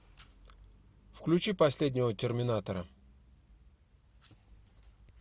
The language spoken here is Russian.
включи последнего терминатора